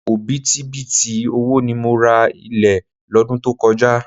Òbítíbitì owó ni mo ra ilẹ̀ lọ́dún tó kọjá.